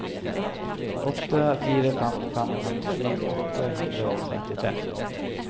åtte fire fem fem femtisju åtte hundre og trettitre